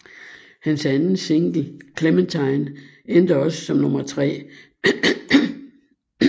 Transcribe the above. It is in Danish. Hans anden single Clementine endte også som nummer tre